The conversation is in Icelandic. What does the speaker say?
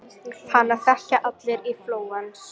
Hana þekkja allir í Flórens.